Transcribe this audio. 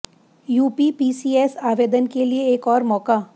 UP PCS आवेदन के लिए एक और मौका